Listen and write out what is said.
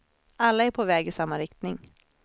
Alla är på väg i samma riktning.